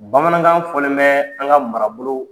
Bamanankan fɔlen bɛ an ka mara bolow